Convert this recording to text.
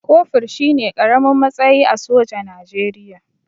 Kofur shine ƙaramin matsayi a soja Najeriya